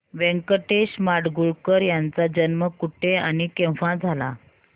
व्यंकटेश माडगूळकर यांचा जन्म कुठे आणि केव्हा झाला